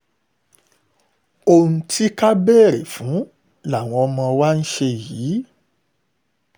ohun tí ká béèrè fún làwọn ọmọ wa ń ṣe yìí